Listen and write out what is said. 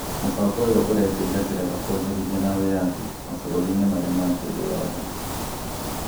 Mũbango ũyũ ũretĩria ngeretha kwonjorithia na wĩyathi mabũrũri-inĩ maria mangĩ thĩ yothe